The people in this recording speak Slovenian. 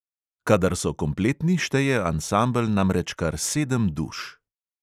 Kadar so kompletni, šteje ansambel namreč kar sedem duš.